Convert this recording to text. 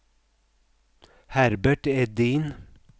Herbert Edin